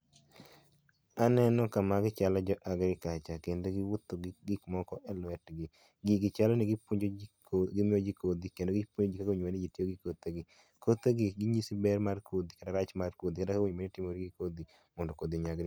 Aneno kama gi chalo jo agriculture kendo giwuotho gi gikmoko e lwetgi. gigi chalo ni gipuonjo ji gimiyo ji kodhi kendo gipuonjo ji kaka owinjobed ni ji tiyo gi kothe gi, kothe gi ginyisi ber mar kodhi kata rach mar kodhi kata kaka onego bed ni itimori gi kodhi mondo kodhi onyagre.